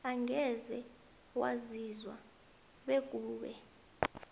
angeze waziswa bekube